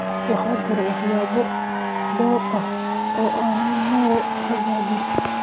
Waxaa jira waxyaabo dhowr ah oo aan noo hagaagin.